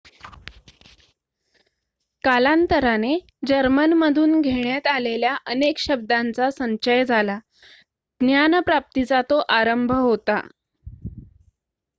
कालांतराने जर्मनमधून घेण्यात आलेल्या अनेक शब्दांचा संचय झाला ज्ञानप्राप्तीचा तो आरंभ होता